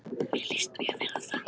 Mér líst mjög vel á það.